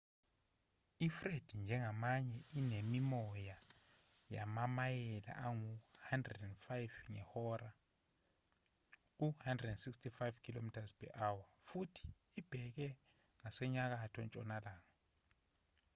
ifred njengamanje inemimoya yamamayela angama-105 ngehora u-165 km/h futhi ibheke ngasenyakatho-ntshonalanga